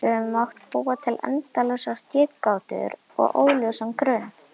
Við höfum mátt búa við endalausar getgátur og óljósan grun.